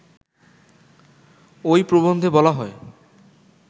ঐ প্রবন্ধে বলা হয়